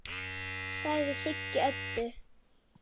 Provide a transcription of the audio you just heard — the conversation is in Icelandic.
sagði Siggi Öddu.